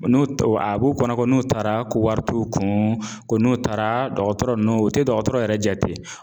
N'o a b'u kɔnɔ ko n'u taara ko wari t'u kun ko n'u taara dɔgɔtɔrɔ ninnu o tɛ dɔgɔtɔrɔ yɛrɛ jate.